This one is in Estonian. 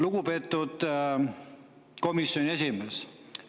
Lugupeetud komisjoni esimees!